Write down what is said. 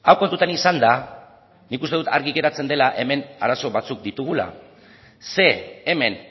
kontutan izanda nik uste dut argi geratzen dela hemen arazo batzuk ditugula ze hemen